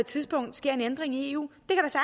tidspunkt sker en ændring i eu